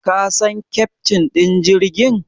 Ka san keftin ɗin jirgin?